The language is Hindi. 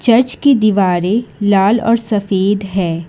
चर्च की दीवारें लाल और सफेद है।